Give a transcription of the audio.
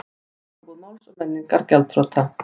Bókabúð Máls og menningar gjaldþrota